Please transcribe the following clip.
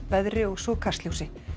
veðri og svo Kastljósi